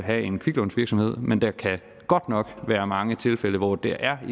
have en kviklånsvirksomhed men der kan godt nok være mange tilfælde hvor det er